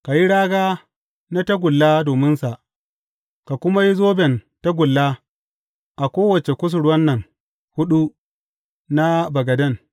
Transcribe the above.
Ka yi raga na tagulla dominsa, ka kuma yi zoben tagulla a kowace kusurwan nan huɗu na bagaden.